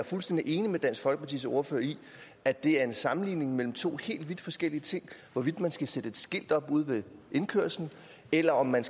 fuldstændig enig med dansk folkepartis ordfører i at det er en sammenligning mellem to helt vidt forskellige ting hvorvidt man skal sætte et skilt op ude ved indkørslen eller om man